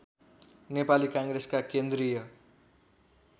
नेपाली काङ्ग्रेसका केन्द्रीय